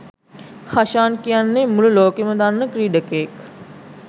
හෂාන් කියන්නේ මුළු ලෝකයම දන්න ක්‍රීඩකයෙක්.